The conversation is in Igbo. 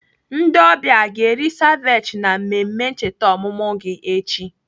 Ndị ọbịa a ga-eri seviche na mmemme ncheta ọmụmụ gị echi?